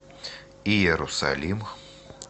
иерусалим